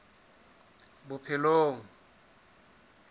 bophelong